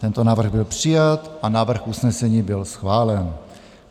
Tento návrh byl přijat a návrh usnesení byl schválen.